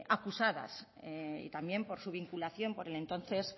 acusadas y también por su vinculación por el entonces